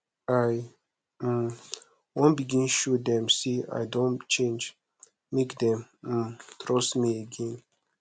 i um wan begin show dem sey i don change make dem um trust me again